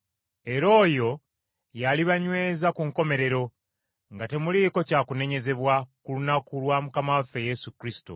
Era oyo y’alibanyweza ku nkomerero, nga temuliiko kya kunenyezebwa ku lunaku lwa Mukama waffe Yesu Kristo.